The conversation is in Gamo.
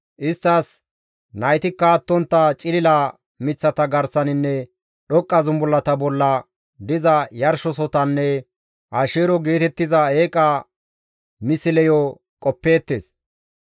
Isttas naytikka attontta cilila miththata garsaninne dhoqqa zumbullata bolla diza yarshosotanne Asheero geetettiza eeqa misleyo qoppeettes.